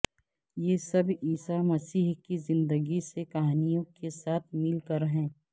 یہ سب عیسی مسیح کی زندگی سے کہانیوں کے ساتھ مل کر ہے